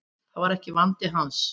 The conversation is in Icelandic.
Það var ekki vandi hans.